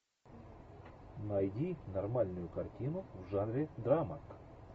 найди нормальную картину в жанре драма